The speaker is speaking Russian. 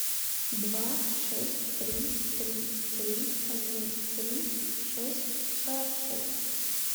два шесть три три три один три шесть сорок шесть